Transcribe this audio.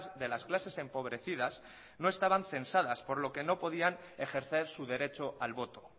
de las clases empobrecidas no estaban censadas por lo que no podían ejercer su derecho al voto